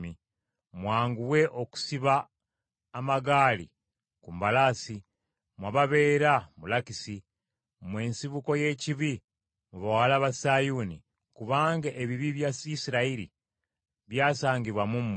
Mwanguwe okusiba amagaali ku mbalaasi mmwe ababeera mu Lakisi. Mmwe nsibuko y’ekibi mu Bawala ba Sayuuni, kubanga ebibi bya Isirayiri byasangibwa mu mmwe.